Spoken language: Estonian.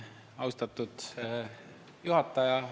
Austatud juhataja!